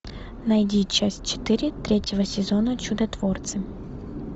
найди часть четыре третьего сезона чудотворцы